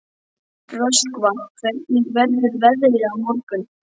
Röskva, hvernig verður veðrið á morgun?